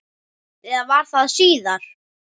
Eða var það síðar?